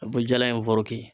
A' be jala in foroki